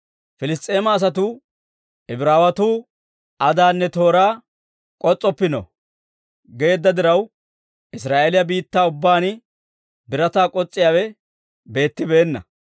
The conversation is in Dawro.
Piliss's'eema asatuu, «Ibraawetuu adaanne tooraa k'os's'oppino» geedda diraw, Israa'eeliyaa biittaa ubbaan birataa k'os's'iyaawe beettibeenna.